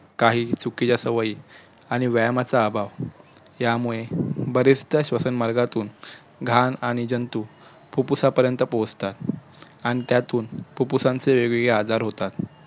काही चुकीच्या सवयी आणि व्यायमाचा अभाव यामुळे बरेचदा श्वसनमार्गातुन घाण आणि जंतू फुप्फुसापर्यंत पोहचतात आणि त्यातून फुप्फुसांचे वेगवेगळे आजार होतात